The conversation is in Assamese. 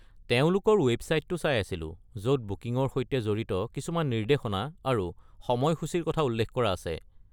তেওঁলোকৰ ৱেবছাইটটো চাই আছিলো য’ত বুকিঙৰ সৈতে জড়িত কিছুমান নিৰ্দেশনা আৰু সময়সূচিৰ কথা উল্লেখ কৰা আছে।